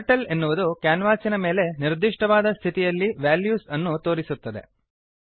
turtle ಎನ್ನುವುದು ಕ್ಯಾನ್ವಾಸಿನ ಮೇಲೆ ನಿರ್ದಿಷ್ಟವಾದ ಸ್ಥಿತಿಯಲ್ಲಿ ವೆಲ್ಯೂಸ್ ಅನ್ನು ತೋರಿಸುತ್ತದೆ